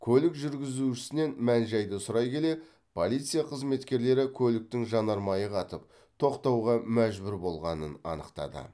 көлік жүргізушісінен мән жайды сұрай келе полиция қызметкерлері көліктің жанармайы қатып тоқтауға мәжбүр болғанын анықтады